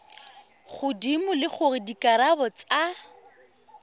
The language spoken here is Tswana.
godimo le gore dikarabo tsa